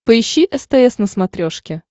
поищи стс на смотрешке